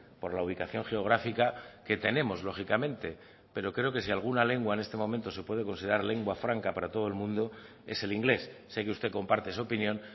por la ubicación geográfica que tenemos lógicamente pero creo que si alguna lengua en este momento se puede considerar lengua franca para todo el mundo es el inglés sé que usted comparte esa opinión